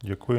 Děkuji.